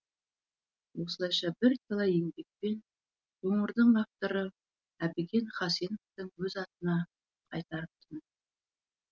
осылайша бірталай еңбекпен қоңырды авторы әбікен хасеновтің өз атына қайтартып тынды